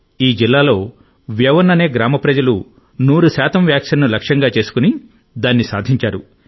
ఈ జిల్లాలో వ్యవన్ అనే గ్రామ ప్రజలు 100 వ్యాక్సిన్ను లక్ష్యంగా చేసుకుని దాన్ని సాధించారు